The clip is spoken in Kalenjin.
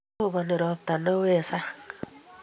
Roponi ropta neo eng' sang'